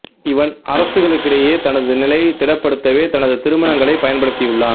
இவன் அரசுகளுக்கிடையே தனது நிலையை திடப்படுத்தவே தனது திருமணங்களைப் பயன்படுத்தியுள்ளான்